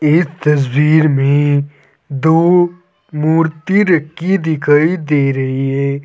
इस तस्वीर में दो मूर्ति रखी दिखाई दे रही है।